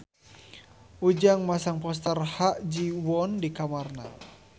Ujang masang poster Ha Ji Won di kamarna